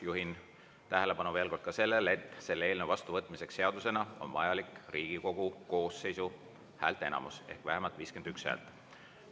Juhin tähelepanu veel kord ka sellele, et selle eelnõu vastuvõtmiseks seadusena on vajalik Riigikogu koosseisu häälteenamust, ehk vähemalt 51 häält.